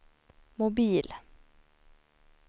mobil